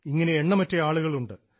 ഇങ്ങനെ എണ്ണമറ്റ ആളുകൾ ഉണ്ട്